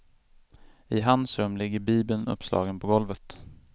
I hans rum ligger bibeln uppslagen på golvet.